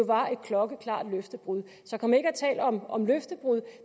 var et klokkeklart løftebrud så kom ikke og tal om om løftebrud